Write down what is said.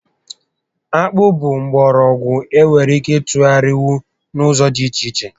Akpụ bụ mgbọrọgwụ e nwere ike ịtụgharịnwu n'ụzọ dị iche iche